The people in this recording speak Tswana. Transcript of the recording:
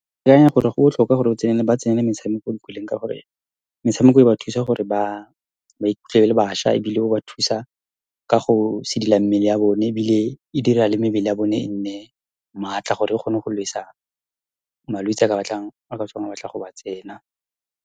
Ke akanya gore go botlhokwa gore , ba tsenele metshameko , ka gore metshameko e ba thusa gore ba ikutlwe e le bašwa, ebile o ba thusa ka go sedila mmele ya bone, ebile e dira le mebele ya bone e nne maatla gore e kgone go malwetse , a ka tswang a batla go ba tsena.